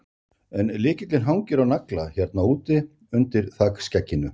En lykillinn hangir á nagla hérna úti, undir þakskegginu.